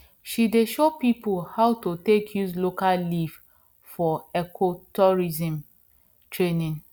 she dey show people how to take use local leaf for ecotourism training